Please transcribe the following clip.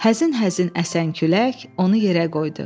Həzin-həzin əsən külək onu yerə qoydu.